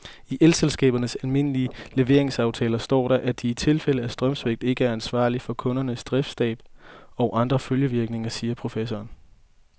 I elselskabernes almindelige leveringsaftaler står der, at de i tilfælde af strømsvigt ikke er ansvarlig for kundernes driftstab og andre følgevirkninger, siger professoren.